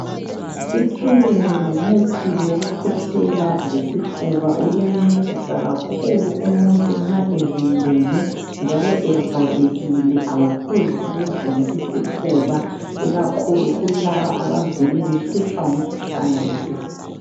I Trylin ngumuthi wokukhwehlela lesifuba. Uyancedisa kakhulu umuntu nxa evimbene njalo evalekile ,awuphuzi ukuvula isifuba ikakhulu kulaba abavele behlutshwa ngumkhuhlane wesifuba.